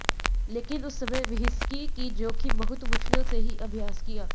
लेकिन उस समय व्हिस्की की जोखिम बहुत मुश्किल से ही अभ्यास किया